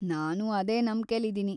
ನಾನೂ ಅದೇ ನಂಬ್ಕೆಲಿದೀನಿ.